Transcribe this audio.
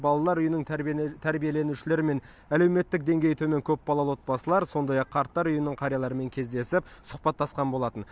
балалар үйінің тәрбиеленушілері мен әлеуметтік деңгейі төмен көпбалалы отбасылар сондай ақ қарттар үйінің қарияларымен кездесіп сұхбаттасқан болатын